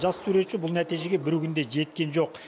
жас суретші бұл нәтижеге бір күнде жеткен жоқ